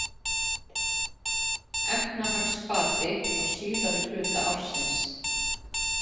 Efnahagsbati á síðari hluta ársins